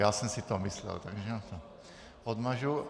Já jsem si to myslel, takže to odmažu.